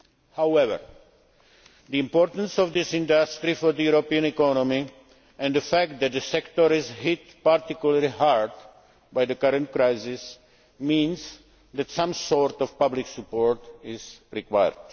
However, the importance of this industry for the European economy, and the fact that the sector is hit particularly hard by the current crisis, means that some sort of public support is required.